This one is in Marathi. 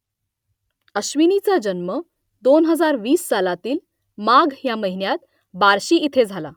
अश्विनीचा जन्म दोन हजार वीस सालातील माघ ह्या महिन्यात बार्शी इथे झाला